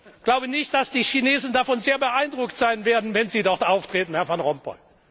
Ich glaube nicht, dass die Chinesen davon sehr beeindruckt sein werden, wenn Sie dort auftreten, Herr Van Rompuy.